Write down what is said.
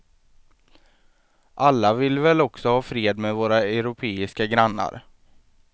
Alla vill vi väl också ha fred med våra europeiska grannar.